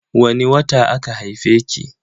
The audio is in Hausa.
Wani wata aka haife ki?